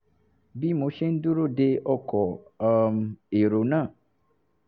bí mo ṣe ń dúró de ọkọ̀ um èrò náà